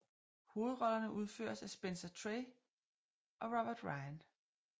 Hovedrollerne udføres af Spencer Tracy og Robert Ryan